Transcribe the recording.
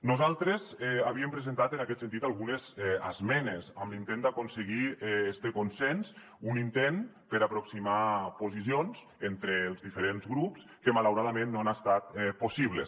nosaltres havíem presentat en aquest sentit algunes esmenes amb l’intent d’aconseguir este consens un intent per aproximar posicions entre els diferents grups que malauradament no ha estat possible